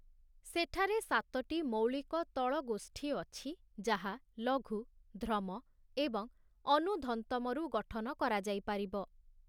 ସେଠାରେ ସାତଟି ମୌଳିକ ତଳ ଗୋଷ୍ଠୀ ଅଛି ଯାହା ଲଘୁ, ଧ୍ରମ ଏବଂ ଅନୁଧନ୍ତମରୁ ଗଠନ କରାଯାଇପାରିବ ।